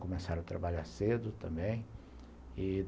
Começaram a trabalhar cedo também e